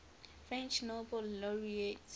french nobel laureates